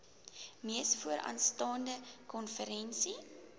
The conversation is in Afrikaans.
mees vooraanstaande konferensie